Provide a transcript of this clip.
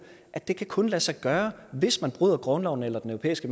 at det kun kan lade sig gøre hvis man bryder grundloven eller den europæiske